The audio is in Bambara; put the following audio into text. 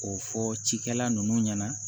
K'o fɔ cikɛla nunnu ɲɛna